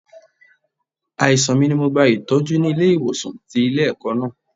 Àìsàn mi ni mo gba Ìtọ́jú ni ilé ìwòsàn tí ilé ẹ̀kọ́ náà.